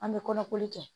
An bɛ kɔnɔkoli kɛ